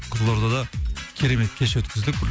қызылордада керемет кеш өткіздік